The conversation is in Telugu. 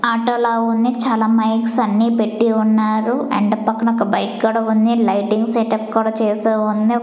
ఆటో లా ఉంది. చాలా మైక్స్ అన్ని పెట్టి ఉన్నారు అండ్ పక్కన ఒక బైక్ కూడా ఉంది. లైటింగ్ సెట్ అప్ కూడా చేసే ఉంది.